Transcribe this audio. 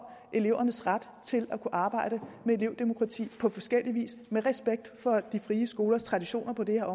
elevernes ret til at kunne arbejde med elevdemokrati på forskellig vis med respekt for de frie skolers traditioner på det her